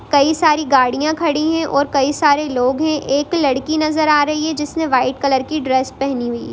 कई सारी गाड़ियां खड़ी में और कई सारे लोग हैं| एक लड़की नजर आ रही है जिसने व्हाइट कलर की ड्रेस पहनी हुई--